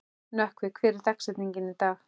Nökkvi, hver er dagsetningin í dag?